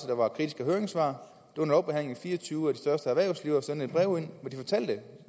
der var kritiske høringssvar fire og tyve af de største erhvervsledere sendte et brev hvor de fortalte